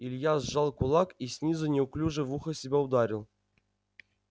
илья сжал кулак и снизу неуклюже в ухо себя ударил